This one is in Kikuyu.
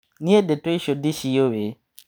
Nie ndeto icio ndiciũi.